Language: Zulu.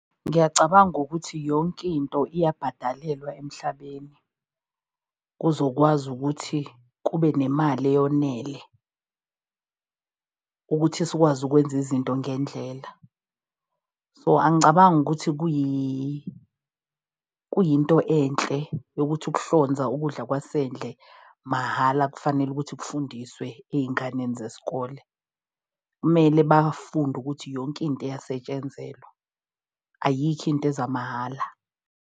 Ngiyacabanga ukuthi yonke into iyabhadalelwa emhlabeni kuzokwazi ukuthi kube nemali eyonele ukuthi sikwazi ukwenza izinto ngendlela. So angicabangi ukuthi kuyinto enhle yokuthi ukuhlonza ukudla kwasendle mahhala kufanele ukuthi kufundiswe ey'nganeni zesikole. Kumele bafunde ukuthi yonke into iyasetshenzelwa. Ayikho into eza mahhala.